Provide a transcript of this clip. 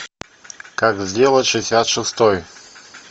как сделать шестьдесят шестой